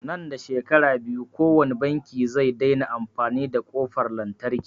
Nan da shekara biyu kowani banki zai daina amfani da ƙofar lantarki